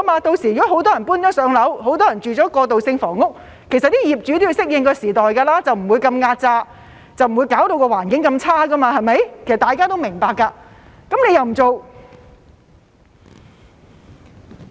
屆時如果很多人"上樓"，很多人居住在過渡性房屋，其實業主也要適應時代，不會壓榨得那麼厲害，不會弄到環境那麼差，對嗎？